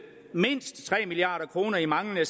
mindst tre milliard kroner i manglende